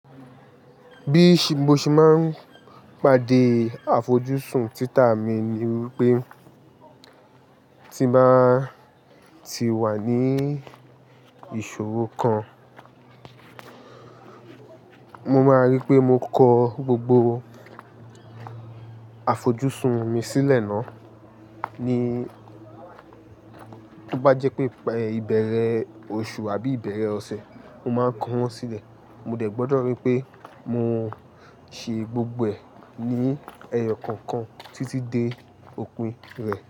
Bí mo ṣe máa ń pàdé àfojúsùn títà mi ni wípé tí mo n bá ti wà ní ìṣòro kan, mo máa rí pé mo kọ gbogbo àfojúsùn mi sílẹ̀ náà. Tó bá jẹ́ pé ìbẹ̀rẹ̀ oṣù àbí ìbẹ̀rẹ̀ ọ̀sẹ̀, mo máa ń kọ wọ́n sílẹ̀. Mo dẹ̀ gbọdọ̀ rí pé mo ṣe gbogbo ẹ̀ ní ẹyọ kọ̀ọ̀kan títí dé òpin rẹ̀.